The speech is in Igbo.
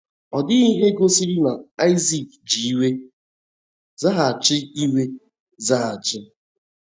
Ọ dịghị ihe gosiri na Aịzik ji iwe zaghachi iwe zaghachi.